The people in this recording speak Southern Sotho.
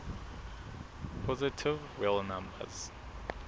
positive real numbers